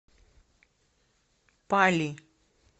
пали